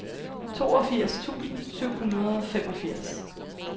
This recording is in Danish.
toogfirs tusind syv hundrede og femogfirs